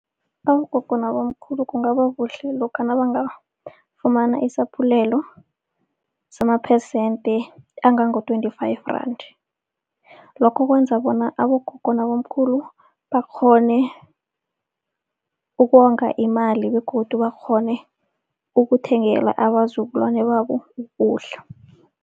Abogogo nabomkhulu kungaba kuhle lokha nabangafumana isaphulelo samaphesente angango-twenty-five rand. Lokho kwenza bona abogogo nabomkhulu bakghone ukonga imali begodu bakghone ukuthengela abazukulwane babo ukudla.